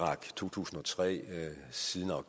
synes